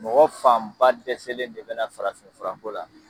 Mɔgɔ fan ba dɛsɛlen de be na farafin fura ko la.